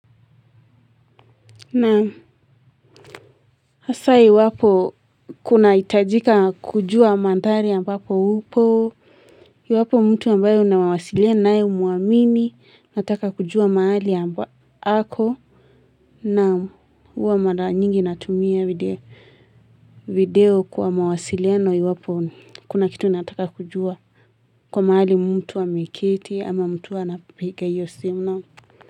Na hasa iwapo kuna hitajika kujua mandhari ambapo upo iwapo mtu ambayo unawasilianae humuamini unataka kujua mahali amba ako. Na huwa mara nyingi natumia video video kwa mawasiliano iwapo kuna kitu nataka kujua. Kwa maali mtu ameketi ama mtu wa anapiga hiyo simu nao.